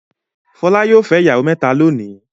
Fọlá yóò fẹ́ ìyàwó mẹ́ta lónìí.